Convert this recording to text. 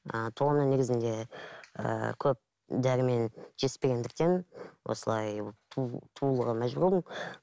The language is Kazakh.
ы туғаннан негізінде ііі көп дәрумен жетіспегендіктен осылай туылуға мәжбүр болдым